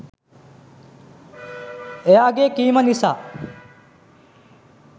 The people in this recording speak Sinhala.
එයාගේ කීම නිසා